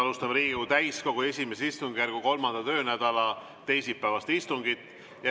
Alustame Riigikogu täiskogu I istungjärgu 3. töönädala teisipäevast istungit.